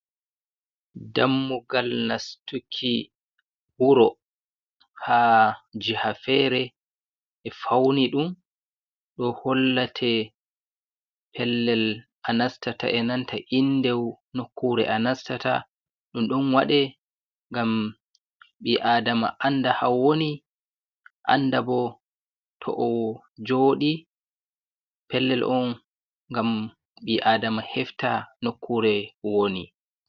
Dammugal nastuki wuro ha jiha fere e fauni ɗum do hollate pellel a nastata e nanta indeu nokkure a nastata. Ɗum ɗon wade ngam bi'adama anda ha woni anda bo to o joɗi pellel on gam bi'adama hefta nokkure woni.